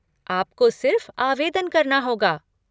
आपको सिर्फ़ आवेदन करना होगा।